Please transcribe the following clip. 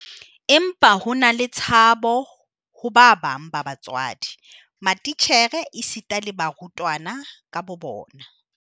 Empa ho na le tshabo ho ba bang ba batswadi, matitjhere esita le barutwana ka bobona.